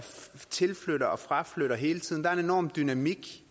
tilflytter og fraflytter hele tiden der er en enorm dynamik